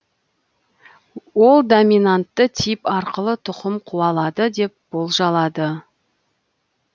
ол доминантты тип арқылы тұқым қуалады деп болжалады